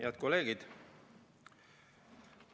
Head kolleegid!